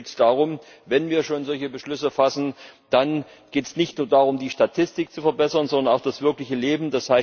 Aber wenn wir schon solche Beschlüsse fassen, dann geht es nicht nur darum, die Statistik zu verbessern, sondern das wirkliche Leben.